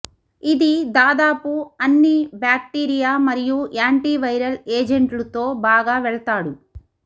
ఇది దాదాపు అన్ని బాక్టీరియా మరియు యాంటివైరల్ ఏజెంట్లు తో బాగా వెళ్తాడు